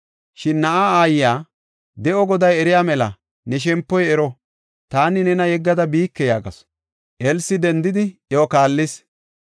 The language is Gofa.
Shin na7aa aayiya, “De7o Goday eriya mela, ne shempoy ero! Taani nena yeggada biike” yaagasu. Elsi dendidi, iyo kaallis.